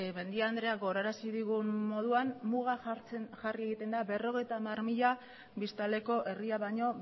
mendia andreak gogorarazi digun moduan muga jarri egiten da berrogeita hamar mila biztanleko herria baino